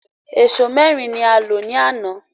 Ẹ̀sọ́ mẹ́rin ni a lò ní àná